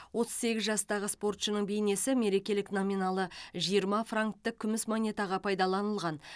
отыз сегіз жастағы спортшының бейнесі мерекелік номиналы жиырма франктік күміс монетаға пайдаланылған